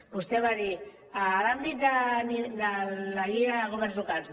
vostè va dir en l’àmbit de la llei de governs locals